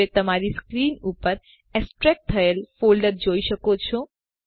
હવે તમે તમારી સ્ક્રીન ઉપર એક્સટ્રેક્ટ થયેલ ફોલ્ડરને જોઈ શકો છો